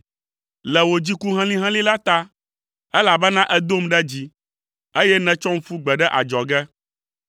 le wò dziku helĩhelĩ la ta elabena èdom ɖe dzi, eye nètsɔm ƒu gbe ɖe adzɔge.